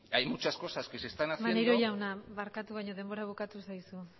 maneiro jauna barkatu baino denbora bukatu zaizu